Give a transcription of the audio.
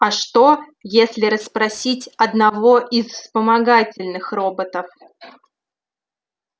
а что если расспросить одного из вспомогательных роботов